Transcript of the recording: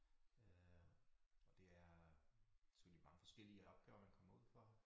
Øh og det er selvfølgelig mange forskellige opgaver man kommer ud for